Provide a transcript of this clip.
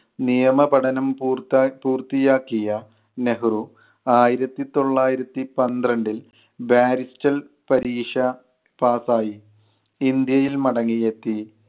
നിയമ പഠനം പൂർത്ത പൂർത്തി ആക്കിയ നെഹ്‌റു, ആയിരത്തിതൊള്ളായിരത്തിപന്ത്രണ്ടിൽ barrister പരീക്ഷ pass ആയി ഇന്ത്യയിൽ മടങ്ങി എത്തി.